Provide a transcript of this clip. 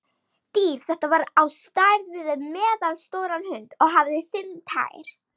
Dýr þetta var á stærð við meðalstóran hund og hafði fimm tær.